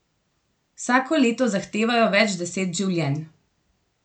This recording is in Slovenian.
Vsako leto zahtevajo več deset življenj.